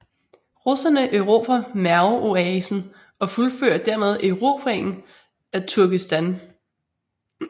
Russerne erobrer Merv oasen og fuldfører dermed erobringen af Turkestan